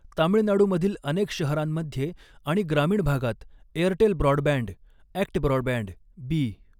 तामिळनाडूमधील अनेक शहरांमध्ये आणि ग्रामीण भागात, एअरटेल ब्रॉडबँड, ऍक्ट ब्रॉडबँड, बी.